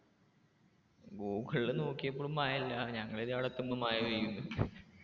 google നോക്കിയപ്പോഴും മഴ ഇല്ല. ഞങ്ങൾ ദേ അവിടെ എത്തുമ്പോ മഴ പെയ്യുന്നു.